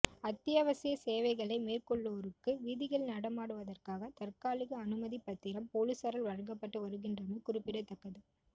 அத்தியாவசிய சேவைகளை மேற்கொள்வோருக்கு வீதிகளில் நடமாடுவதற்காக தற்காலிக அனுமதிப்பத்திரம் பொலிஸாரால் வழங்கப்பட்டு வருகின்றமை குறிப்பிடத்தக்கது